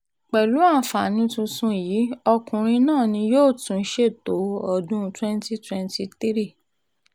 pẹ̀lú àǹfààní tuntun yìí ọkùnrin um náà ni yóò tún ṣètò um ìdìbò ọdún 2023